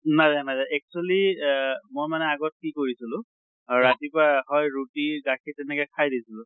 নাযায় নাযায় actually এহ মই মানে আগত কি কৰিছিলোঁ ৰাতিপুৱা হয় ৰুতি গাখীৰ তেনেকে খাই দিছিলো।